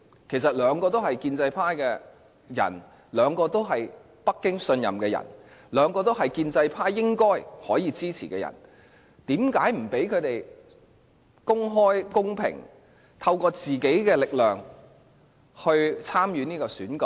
其實兩位都是建制派的人，兩位都是北京信任的人，兩位都是建制派應該可以支持的人，為何不讓他們公開、公平，透過自己的力量參與這次選舉？